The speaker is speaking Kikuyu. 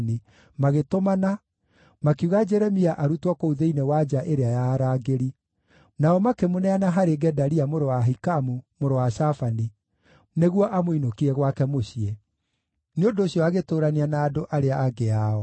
magĩtũmana, makiuga Jeremia arutwo kũu thĩinĩ wa nja ĩrĩa ya arangĩri. Nao makĩmũneana harĩ Gedalia mũrũ wa Ahikamu, mũrũ wa Shafani, nĩguo amũinũkie gwake mũciĩ. Nĩ ũndũ ũcio agĩtũũrania na andũ arĩa angĩ ao.